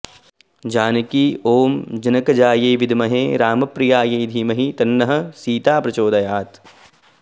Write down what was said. जानकी ॐ जनकजायै विद्महे रामप्रियायै धीमहि तन्नः सीता प्रचोदयात्